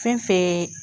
Fɛn fɛn